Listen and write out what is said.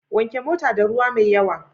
Wanke motar da ruwa mai yawa.